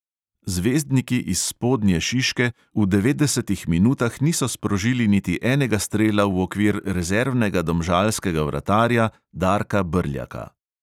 Zvezdniki iz spodnje šiške v devetdesetih minutah niso sprožili niti enega strela v okvir rezervnega domžalskega vratarja darka brljaka.